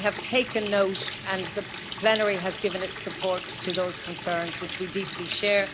We have taken note and the plenary has given its support to those concerns, which we deeply share.